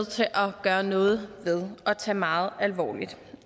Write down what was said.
til at gøre noget ved og tage meget alvorligt